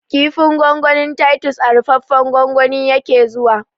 Kifin gwangwanin tatus a rufaffen gwangwani yake zuwa